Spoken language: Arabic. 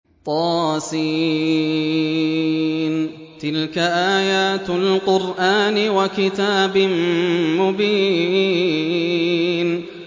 طس ۚ تِلْكَ آيَاتُ الْقُرْآنِ وَكِتَابٍ مُّبِينٍ